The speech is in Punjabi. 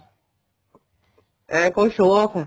ਏ ਕੋਈ show off ਏ